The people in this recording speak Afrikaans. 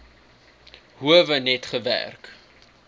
howe net gewerk